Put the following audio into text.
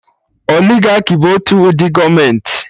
Oligaki bụ otu ụdị gọọmenti